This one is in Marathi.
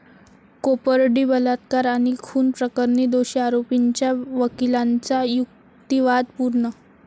कोपर्डी बलात्कार आणि खून प्रकरणी दोषी आरोपींच्या वकिलांचा युक्तिवाद पूर्ण